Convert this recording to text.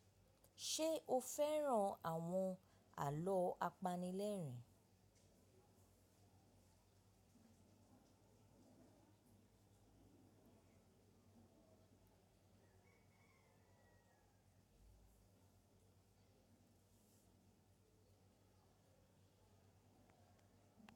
Ṣe o fẹran awọn alọ apanilẹrin?